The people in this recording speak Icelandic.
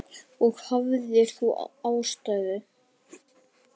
Og hafðir þú ástæðu?